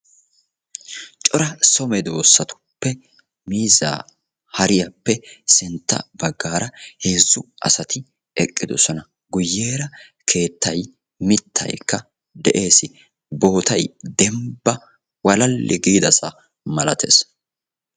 Cora so medoosatuppe miiza hariyaappe sintta baggaara heezzu asati eqqidoosona. Guyyeera keettay mittaykka de'ees. Dembbay walala gidaassa malattees.